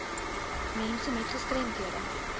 mense met gestremdhede